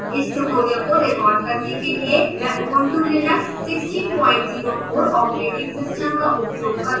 इस tutorial को record करने के लिए मैं ubuntu linux 1604 o s का उपयोग कर रही हूँ